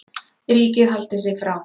Ríkið haldi sig frá